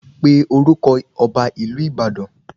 Pe orúkọ ọba ìlú Ìbàdàn